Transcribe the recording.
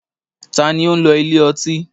Ta ni ó ń lọ ilé ọtí?